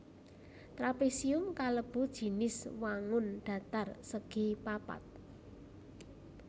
Trapésium kalebu jinis wangun dhatar segi papat